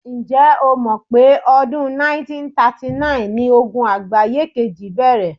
Ǹ̀jẹ́ o mọ̀ pé ọdún 1939ni Ogun àgbáye kejì bẹ̀rẹ̀?